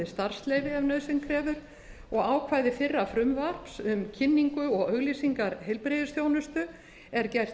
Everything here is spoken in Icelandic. starfsleyfi ef nauðsyn krefur og ákvæði fyrra frumvarps um kynningu og auglýsingar heilbrigðisþjónustu er gert